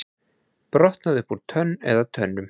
Brotnaði upp úr tönn eða tönnum